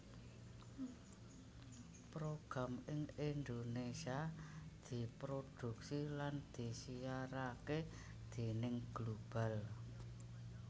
Program ing Indonesia diproduksi lan disiarake déning Global